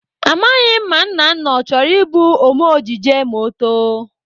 Amaghị m ma Nnanna ọ chọrọ ịbụ Ome ejije ma ọ too.